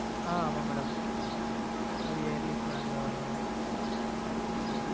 ஆஹ் ஆமா madam அது yearly plan ல வரும் madam